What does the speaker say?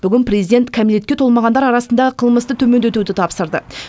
бүгін президент кәмелетке толмағандар арасындағы қылмысты төмендетуді тапсырды